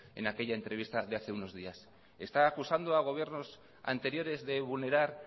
en aquella entrevista de hace unos días está acusando a gobiernos anteriores de vulnerar